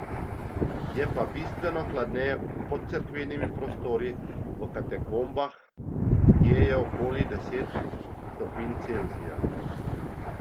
Je pa bistveno hladneje pod cerkvenimi prostori, v katakombah, kje je okoli deset stopinj Celzija.